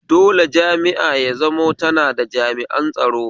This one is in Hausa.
Dole jami'a ya zamo tana da jami; an tsaro